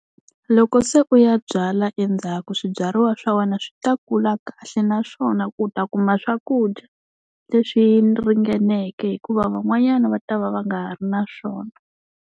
Loko se u ya byala endzhaku swibyariwa swa wena swi ta kula kahle, naswona u ta kuma swakudya leswi ringeneke hikuva van'wanyana va ta va va nga ha ri na swona.